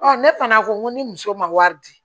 ne fana ko ŋo ni muso ma wari di